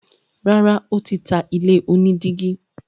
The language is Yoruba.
Rárá, ó tí ta ilé onídígí.